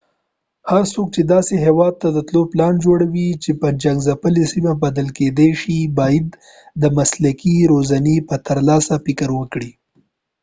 هر څوک چې داسې هېواد ته تلو پلان جوړوي چې جنګځپلې سیمه بلل کېدای شي باید د مسلکي روزنې په ترلاسي فکر وکړي